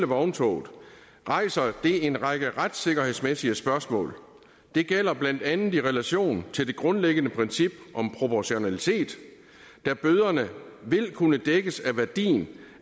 vogntoget rejser det en række retssikkerhedsmæssige spørgsmål det gælder blandt andet i relation til det grundlæggende princip om proportionalitet da bøderne vil kunne dækkes af værdien